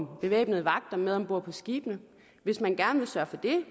bevæbnede vagter med ombord på skibene hvis man gerne vil sørge for det